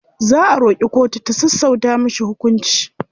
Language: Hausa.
Za a roƙi kotu ta sassauta mishi hukunci.